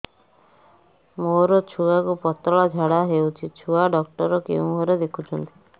ମୋର ଛୁଆକୁ ପତଳା ଝାଡ଼ା ହେଉଛି ଛୁଆ ଡକ୍ଟର କେଉଁ ଘରେ ଦେଖୁଛନ୍ତି